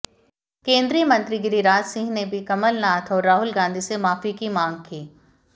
केंद्रीय मंत्री गिरिराज सिंह ने भी कमलनाथ और राहुल गांधी से माफी की मांग की